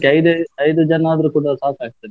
ಐದು ಜನ ಆದ್ರೆ ಕೂಡ ಸಾಕಾಗ್ತದೆ.